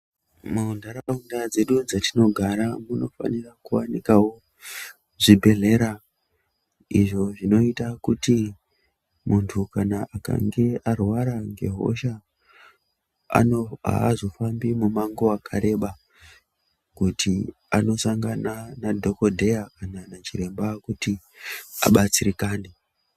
Muntaraunda dzedu dzatinogara munofanira kuwanikwawo zvibhedhlera izvo zvinoita kuti muntu kana akange arwara ngehosha ano aazofambi mumango wakareba kuti anosangana nadhokodheya kana nachiremba kuti abatsirikane.